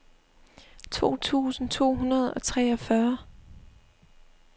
to tusind to hundrede og treogfyrre